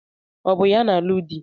Ọ bụ ya na-alụ di?